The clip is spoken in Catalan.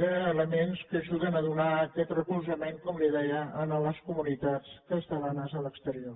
d’elements que ajuden a donar aquest recolzament com li deia a les comunitats catalanes a l’exterior